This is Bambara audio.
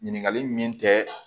Ɲininkali min kɛ